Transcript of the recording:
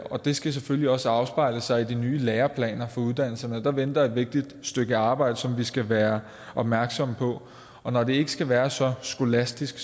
og det skal selvfølgelig også afspejle sig i de nye læreplaner for uddannelserne der venter et vigtigt stykke arbejde som vi skal være opmærksomme på og når det ikke skal være så skolastisk